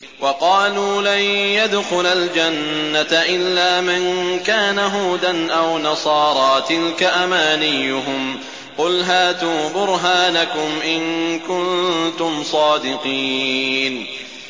وَقَالُوا لَن يَدْخُلَ الْجَنَّةَ إِلَّا مَن كَانَ هُودًا أَوْ نَصَارَىٰ ۗ تِلْكَ أَمَانِيُّهُمْ ۗ قُلْ هَاتُوا بُرْهَانَكُمْ إِن كُنتُمْ صَادِقِينَ